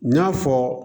N y'a fɔ